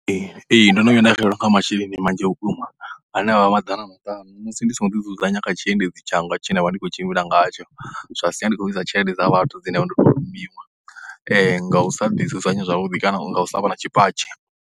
Ee, ee ndo no vhuya nda xelelwa nga masheleni manzhi vhukuma ane a vha maḓana maṱanu musi ndi songo ḓidzudzanya kha tshiendedzi tshanga tshe nda vha ndi khou tshimbila ngatsho, zwa siya ndi tshi khou ḽuza tshelede dza vhathu dze nda vha ndo tou rumiwa nga u sa ḓidzudzanya zwavhuḓi kana nga u vha na tshipatshi.